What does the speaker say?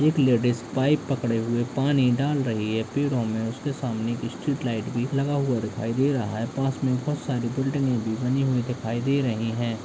एक ladies pipe पकड़े हुए पानी डाल रही है पेड़ों में उसके सामने एक स्ट्रीट लाइट भी लगा हुआ दिखाई दे रहा है पास मे बहोत सारी बिल्डिंगे भी बनी हुई दिखाई दे रही हैं।